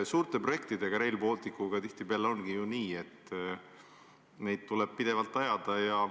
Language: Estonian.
Suurte projektidega, nagu ka Rail Baltic on, tihtipeale ongi nii, et neid asju tuleb pidevalt ajada.